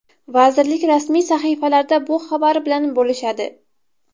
Vazirlik rasmiy sahifalarida bu xabar bilan bo‘lishadi.